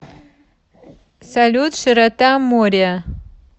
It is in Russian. салют широта мориа